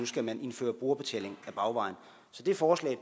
skal man indføre brugerbetaling ad bagvejen så det forslag